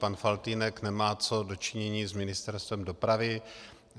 Pan Faltýnek nemá co do činění s Ministerstvem dopravy.